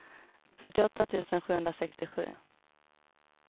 fyrtioåtta tusen sjuhundrasextiosju